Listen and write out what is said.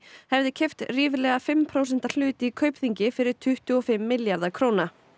hefði keypt ríflega fimm prósenta hlut í Kaupþingi fyrir tuttugu og fimm milljarða króna